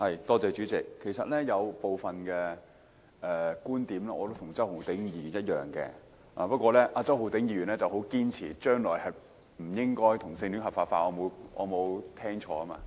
代理主席，其實我有部分觀點與周浩鼎議員的觀點相同，但周浩鼎議員很堅持將來不應該把同性婚姻合法化——我應該沒有聽錯吧？